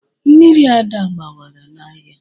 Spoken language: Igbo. Mmiri Ada gbawara n'ahịa.